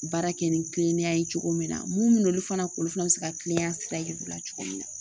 Baara kɛ ni kilennenya ye cogo min na mun bɛ na olu fana kɔ olu fana bɛ se ka kilenya sira yira u la cogo min na